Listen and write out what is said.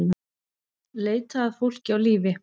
Leita að fólki á lífi